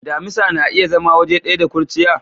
Damisa na iya zama waje daya da kurciya?